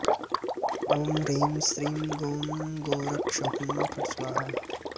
ॐ ह्रीं श्रीं गों गोरक्ष हुँ फट् स्वाहा